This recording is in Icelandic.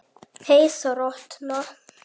Hey þrotna.